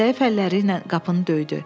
Zəif əlləriylə qapını döydü.